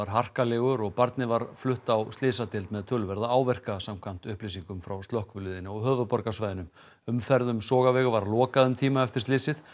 harkalegur og barnið var flutt á slysadeild með töluverða áverka samkvæmt upplýsingum frá slökkviliðinu á höfuðborgarsvæðinu umferð um Sogaveg var lokað um tíma eftir slysið